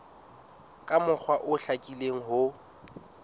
ka mokgwa o hlakileng ho